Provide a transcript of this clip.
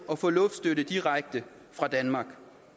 at få luftstøtte direkte fra danmark